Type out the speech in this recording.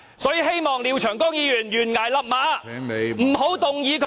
所以，希望廖長江議員懸崖勒馬，......